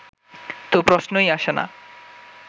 তো প্রশ্নই আসে না